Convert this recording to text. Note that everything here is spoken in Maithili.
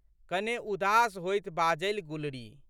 कने उदास होइत बाजलि गुलरी।